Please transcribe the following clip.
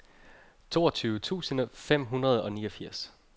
toogtyve tusind fem hundrede og niogfirs